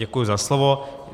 Děkuji za slovo.